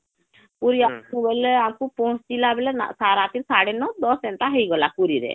ପୁରୀ ଆସିବୁ ବୋଇଲେ ଆମକୁ ପହଁଚିଲା ବେଲେ ରାତି ସାଡେ ନଅ ଦଶ ଏନ୍ତା ହେଇଗଲା ପୁରୀ ରେ